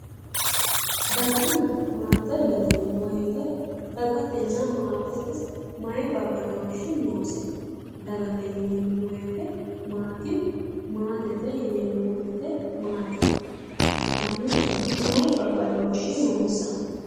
daganna maate yineemmo woyite dagatenna maatete mayi badooshshi noose? dagate yineemmo wote maati maatete yineemmo wote maati? lamunkura mayi babbadooshshi noonsa?